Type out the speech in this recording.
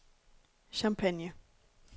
Champagne